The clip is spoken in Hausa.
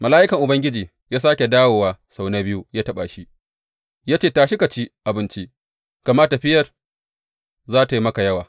Mala’ikan Ubangiji ya sāke dawowa sau na biyu ya taɓa shi, ya ce, Tashi ka ci abinci, gama tafiyar za tă yi maka yawa.